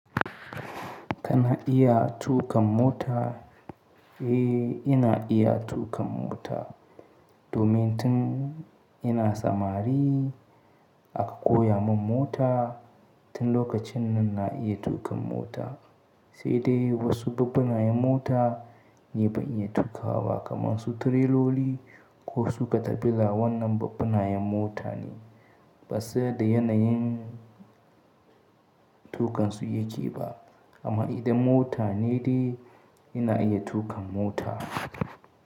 Kana iya tuƙa mota? Eh, ina iya tuƙa mota. Domin tun ina samari aka koya mun mota, tun lokacin nan na iya tuƙa mota. Sai dai wasu babbanayen mota ne ban iya tuƙawa kaman su tireloli ko su katafila wannan babbanayen mota ne. Ba sa da yanayin tuƙansu yake ba. Amma idan mota ne dai ina iya tuƙa mota.